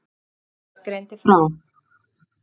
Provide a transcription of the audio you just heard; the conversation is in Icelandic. Vísir greindi frá.